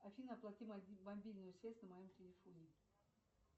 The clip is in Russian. афина оплати мобильную связь на моем телефоне